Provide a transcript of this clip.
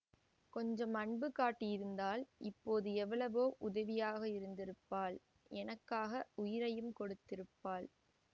கொஞ்சம் அன்பு காட்டியிருந்தால் இப்போது எவ்வளவோ உதவியாக இருந்திருப்பாள் எனக்காக உயிரையும் கொடுத்திருப்பாள்